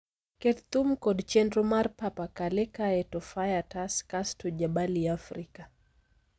Ket thum kod chenro mar Papa Kale kae to Faya Tas kasto Jabali Africa